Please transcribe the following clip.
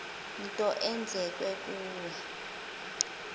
nto eyenzeke kuwe